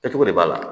Kɛcogo de b'a la